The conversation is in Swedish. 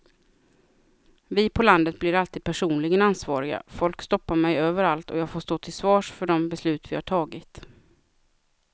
Vi på landet blir alltid personligen ansvariga, folk stoppar mig överallt och jag får stå till svars för de beslut vi har tagit.